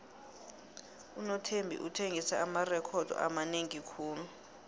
unothembi uthengise amarekhodo amanengi khulu